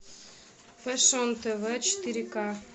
фэшн тв четыре к